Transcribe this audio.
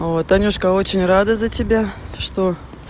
о танюшка очень рада за тебя что